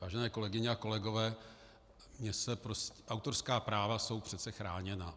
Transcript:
Vážené kolegyně a kolegové, autorská práva jsou přece chráněna.